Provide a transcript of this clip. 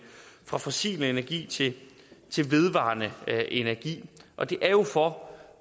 fra fossil energi til vedvarende energi og det er jo for